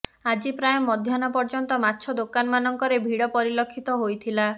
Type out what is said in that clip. ଆଜି ପ୍ରାୟ ମଧ୍ୟାହ୍ନ ପର୍ଯ୍ୟନ୍ତ ମାଛ ଦୋକାନମାନଙ୍କରେ ଭିଡ ପରିଲକ୍ଷିତ ହୋଇଥିଲା